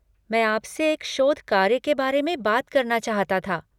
मैं आपसे एक शोध कार्य के बारे में बात करना चाहता था।